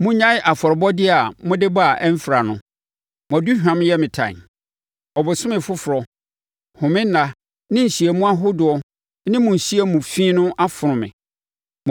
Monnyae afɔrebɔdeɛ a mode ba a ɛmfra no! Mo aduhwam yɛ me tan. Ɔbosome foforɔ, home nna ne nhyiamu ahodoɔ ne mo nhyiamu fi no afono me.